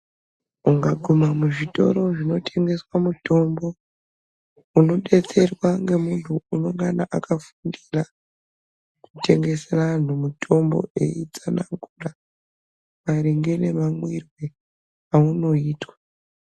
Ungaguma muzvitoro zvinotengesa mutombo unodetserwa ngemuntu unongana akafundira kutengesera antu mutombo eitsanangura maringe nemamwirwe aunoitwa.